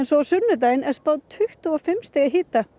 á sunnudaginn er spáð tuttugu og fimm stiga hita